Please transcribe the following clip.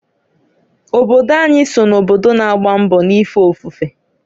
Obodo anyị so na obodo na-agba mbọ n'ife ofufe.